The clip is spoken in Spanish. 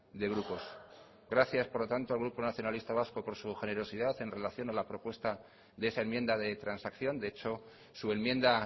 de grupos gracias por lo tanto al grupo nacionalista vasco por su generosidad en relación a la propuesta de esa enmienda de transacción de hecho su enmienda